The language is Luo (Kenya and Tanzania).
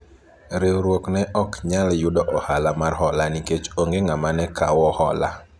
riwruok ne ok nyal yudo ohala mar hola nikech onge ng'ama ne okawo hola